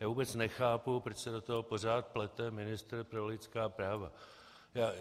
Já vůbec nechápu, proč se do toho pořád plete ministr pro lidská práva.